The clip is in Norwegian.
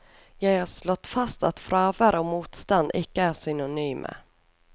Jeg har slått fast at fravær og motstand ikke er synonyme.